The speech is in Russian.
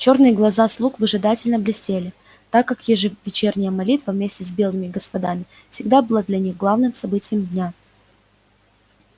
чёрные глаза слуг выжидательно блестели так как ежевечерняя молитва вместе с белыми господами всегда была для них главным событием дня